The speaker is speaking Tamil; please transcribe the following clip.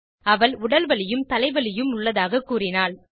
அவள் உடல் வலியும் தலை வலியும் உள்ளதாக கூறினாள்